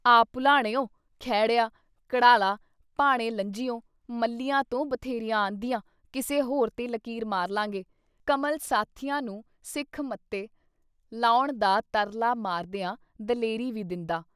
ਆਹ ਭੁਲਾਣਿਉ, ਖੇੜਿਆਂ, ਕੜ੍ਹਾਲਾਂ, ਭਾਣੇ-ਲੰਝਿਉਂ ਮੱਲ੍ਹੀਆਂ ਤੋਂ ਬਥੇਰੀਆਂ ਔਂਦੀਆਂ, ਕਿਸੇ ਹੋਰ 'ਤੇ ਲਕੀਰ ਮਾਰ ਲਾਂਗੇ। ਕਮਲ ਸਾਥੀਆਂ ਨੂੰ ਸਿੱਖ ਮੱਤੇ ਲਾਉਣ ਦਾ ਤਰਲਾ ਮਾਰਦਿਆਂ ਦਲੇਰੀ ਵੀ ਦਿੰਦਾ।